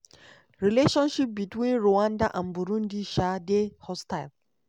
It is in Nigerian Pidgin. relationship between rwanda and burundi um dey hostile.